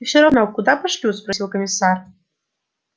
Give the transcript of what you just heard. и все равно куда пошлют спросил комиссар